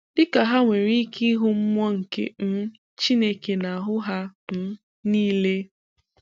Dị ka ha nwere ike ịhụ mmụọ nke um Chineke n'ahu ha um niile!!